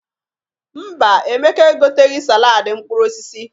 Mba, Emeka egoteghi saladị mkprur osisi.